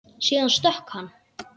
Síðan stökk hann.